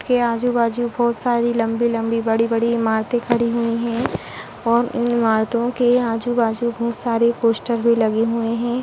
के आजू-बाजू बोहोत सारी लम्बी-लम्बी बड़ी-बड़ी इमारतें खड़ी हुई हैं और इन इमारतों के आजू-बाजू बहोत सारी पोस्टर भी लगे हुए हैं।